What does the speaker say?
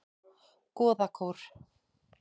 Goðakór